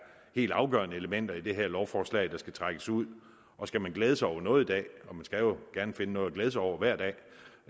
helt afgørende elementer i det her lovforslag der skal trækkes ud og skal man glæde sig over noget i dag og man skal gerne finde noget at glæde sig over hver dag